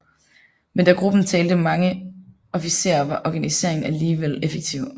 Men da gruppen talte mange officerer var organiseringen alligevel effektiv